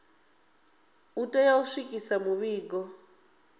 u tea u swikisa mivhigo